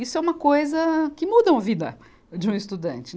Isso é uma coisa que mudam a vida de um estudante.